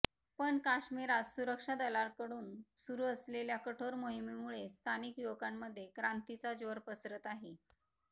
पण काश्मिरात सुरक्षा दलांकडून सुरू असलेल्या कठोर मोहिमेमुळे स्थानिक युवकांमध्ये क्रांतीचा ज्वर पसरत आहे